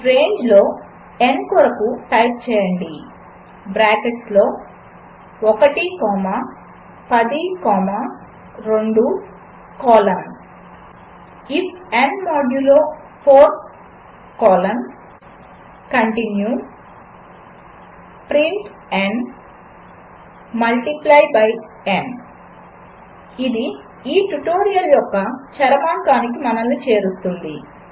రేంజ్లో n కొరకు type చేయండి బ్రాకెట్స్లో 1 comma 10 comma 2 colon if n modulo 4 colon continue print n multiply by n ఇది ఈ ట్యుటోరియల్ యొక్క చరమాంకానికి మనను చేరుస్తుంది